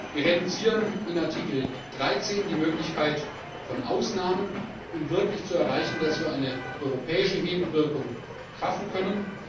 Wir reduzieren in Artikel 13 die Möglichkeit von Ausnahmen, um wirklich zu erreichen, dass wir eine europäische Hebelwirkung schaffen können.